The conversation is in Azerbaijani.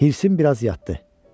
Hirsəm biraz yatdı.